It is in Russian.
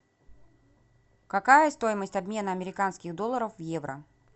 какая стоимость обмена американских долларов в евро